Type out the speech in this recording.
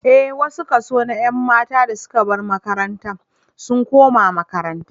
Ee, wani kaso na ƴan matan da suka bar makaranta sun koma makaranta